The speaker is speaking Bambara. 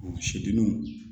Seduluw